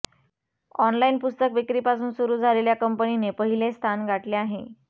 online पुस्तक विक्रीपासून सुरू झालेल्या कंपनीने पहिले स्थान गाठले आहे